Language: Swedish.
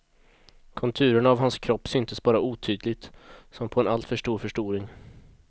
Konturerna av hans kropp syntes bara otydligt, som på en alltför stor förstoring.